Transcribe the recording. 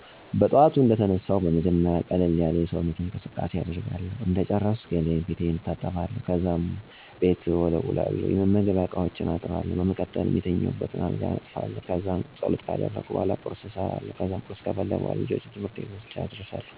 በጥዋቱ እንደተነሳሁ በመጀመሪያ ቀለል ያለ የሰውነት እንቅስቃሴ አደርጋለሁ እንደጨረስኩ ገላየን/ፊቴን እታጠባለሁ፣ ከዛም ቤት እወለዉላለሁ፣ የመመገቢያ እቃዎችን አጥባለሁ፣ በመቀጠልም የተኛሁበትን አልጋ አነጥፋለሁ። ከዛም ፀሎት ካደረግኩ በኃላ ቁርስ እሰራለሁ ከዛም ቁርስ ከበላን በኋላ ልጀን ትምህርት ቤት ልኬ ወደ ሌሎች የቤት ውስጥ ስራወች እገባለሁ።